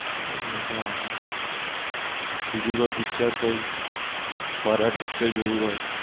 એ મજા આવે બીજું કોઈ picture કોઈ horror picture જોયું હોય.